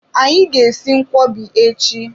Anyị ga-esi nkwọbi echi.